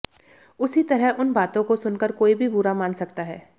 उसी तरह उन बातों को सुन कर कोई भी बुरा मान सकता है